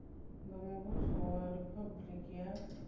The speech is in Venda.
nga muvhuso wa riphabuliki ya